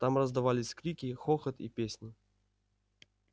там раздавались крики хохот и песни